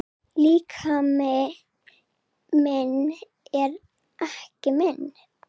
Líkami minn er ekki minn.